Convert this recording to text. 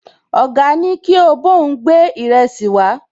Ọ̀gá ní kí ó bá òun gbé ìrẹsì wàá